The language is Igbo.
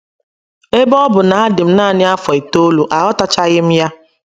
Ebe ọ bụ na adị m nanị afọ itoolu, aghọtachaghị m ya.